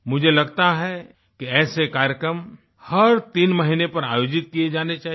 मुझे लगता है कि ऐसे कार्यक्रम हर तीन महीने पर आयोजित किये जाने चाहिए